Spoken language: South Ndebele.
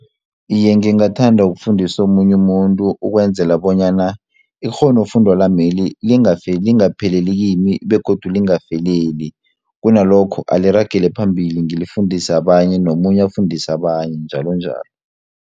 Iye, ngingathanda ukufundisa omunye umuntu ukwenzela bonyana ikghonofundo lameli lingafi lingapheleli kimi begodu lingafeleli kunalokho aliragele phambili ngilifundise abanye nomunye afundise abanye njalonjalo.